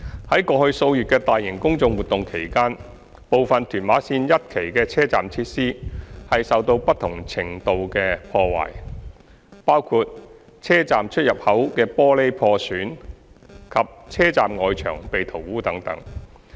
二過去數月的大型公眾活動期間，部分屯馬綫一期的車站設施受到不同程度的破壞，包括車站出入口的玻璃破損及車站外牆被塗污等。